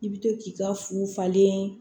I bɛ to k'i ka fu falen